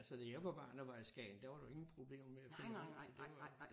Altså da jeg var barn og var i Skagen der var det ingen problemer med at finde rundt